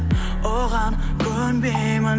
оған көнбеймін